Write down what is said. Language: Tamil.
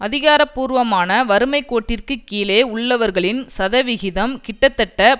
அதிகார பூர்வமான வறுமை கோட்டிற்கு கீழே உள்ளவர்களின் சதவிகிதம் கிட்டத்தட்ட